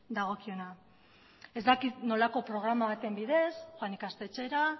dagokiona ez dakit nolako programa baten bidez joan ikastetxera